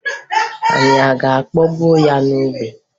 Anyị ga-akpọgbu ya n'obe